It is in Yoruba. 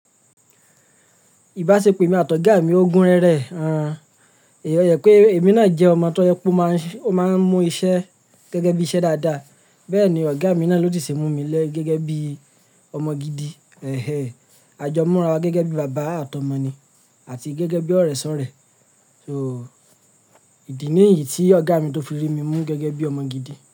Ìbáṣepọ̀ emi àtọ̀gá mi ogun rere. Ẹ̀hn ẹ ye pé èmi náà jẹ́ ọmọ tó yẹ pe ó máa ń mú iṣẹ́ gẹ́gẹ́ bí iṣẹ́ dáadáa. Bẹ́ẹ̀ ni ọ̀gá mi náà ló ti ṣe mú mi lé gẹ́gẹ́ bí ọmọ gidi. Ẹ̀hẹ̀, a jọ múra wa gẹ́gẹ́ bí baba àtọ̀ọmọ ni àti gẹ́gẹ́ bí ọ̀rẹ́ ṣọ̀rẹ́. So, ìdí ní yí tí ọ̀gá mi tó fi rí mi mú gẹ́gẹ́ bí ọmọ gidi.